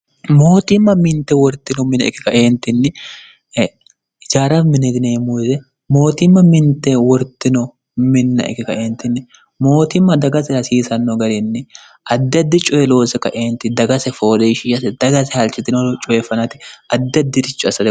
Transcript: mootimma mintte wortino mine e"e ka"e ijaara mine yineemmo woyiite mootimma mintte wortino minna ike ka"e mootimma dagate hasiisanno garinni mootimma dagase fooliishiishate daga halchitino coye fanate addi addiricho assate.